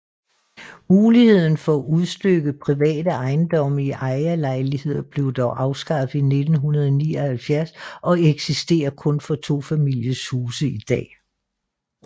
Muligheden for udstykke private ejendomme i ejerlejligheder blev dog afskaffet i 1979 og eksisterer kun for tofamiliehuse i dag